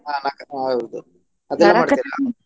ಹ ಹೌದು ಅದೆಲ್ಲ ಮಾಡ್ತೀರಾ?